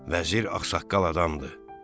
Vəzir ağsaqqal adamdır.